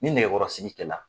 Ni nɛgɛkɔrɔsigi kɛ la.